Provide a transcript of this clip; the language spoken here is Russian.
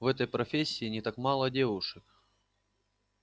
в этой профессии не так мало девушек